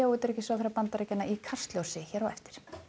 utanríkisráðherra Bandaríkjanna í Kastljósi á eftir